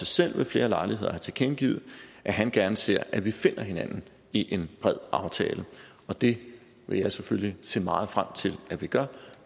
selv ved flere lejligheder har tilkendegivet at han gerne ser at vi finder hinanden i en bred aftale og det vil jeg selvfølgelig se meget frem til at vi gør